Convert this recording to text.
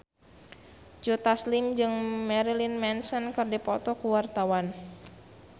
Joe Taslim jeung Marilyn Manson keur dipoto ku wartawan